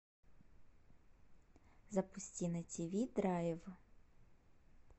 запусти на тв драйв